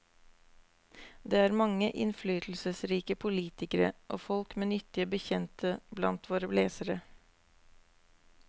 Det er mange innflytelsesrike politikere og folk med nyttige bekjente blant våre lesere.